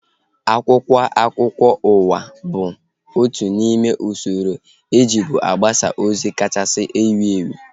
Akwụkwọ akụkọ ụwa bụ otu n'ime usoro ejibu agbasa ozi kachasị wuo ewu